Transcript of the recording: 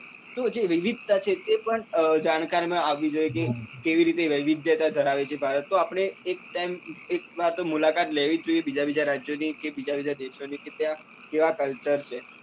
તો જે વિવિધતા છે તે પણ જાણકારી માં આવવી જ જોઈએ કે કેવી રીતે વિવિધતા ધરાવે છે ભારત તો આપડે એક time એક વાર તો મુલાકાત તો લેવી જ જોઈએ બીજા બીજા રાજ્યો ની કે બીજા બીજા દેશો ની કે ત્યાં કેવા culture છે